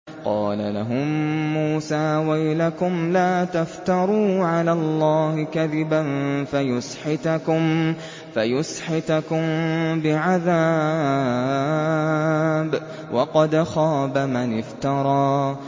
قَالَ لَهُم مُّوسَىٰ وَيْلَكُمْ لَا تَفْتَرُوا عَلَى اللَّهِ كَذِبًا فَيُسْحِتَكُم بِعَذَابٍ ۖ وَقَدْ خَابَ مَنِ افْتَرَىٰ